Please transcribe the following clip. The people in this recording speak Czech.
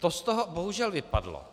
To z toho bohužel vypadlo,